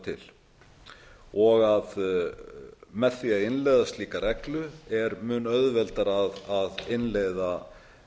til og með því að innleiða slíka reglu er mun auðveldara að innleiða